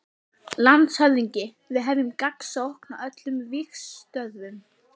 LANDSHÖFÐINGI: Við hefjum gagnsókn á öllum vígstöðvum.